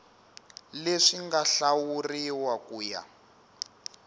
leswi nga hlawuriwa ku ya